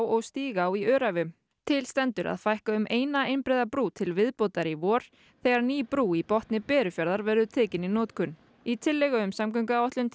og Stígá í Öræfum til stendur að fækka um eina einbreiða brú til viðbótar í vor þegar ný brú í botni Berufjarðar verður tekin í notkun í tillögu um samgönguáætlun